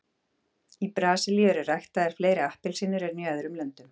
í brasilíu eru ræktaðar fleiri appelsínur en í öðrum löndum